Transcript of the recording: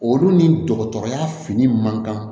Olu ni dɔgɔtɔrɔya fini man kan